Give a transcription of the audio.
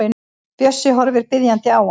Bjössi horfir biðjandi á hann.